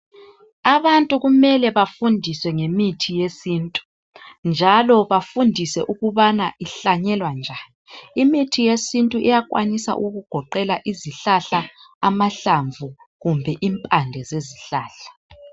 abantu kumele befundiswe ngemithi yesintu njalo bafundiswe ukubana ihlanyelwa njani imithi yesintu iyakwanisa ukugoqela izihlahla amahlamvu kumbe impande zezihlahla